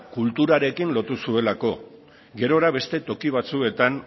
kulturarekin lotu zuelako gerora beste toki batzuetan